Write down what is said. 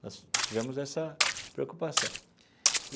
Nós tivemos essa preocupação.